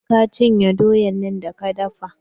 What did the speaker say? Je ka cinye doyan da ka dafa!